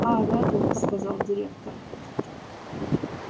а реддл сказал директор